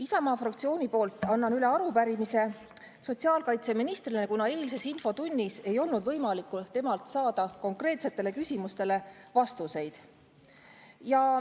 Isamaa fraktsiooni poolt annan üle arupärimise sotsiaalkaitseministrile, kuna eilses infotunnis ei olnud võimalik saada temalt konkreetsetele küsimustele vastuseid.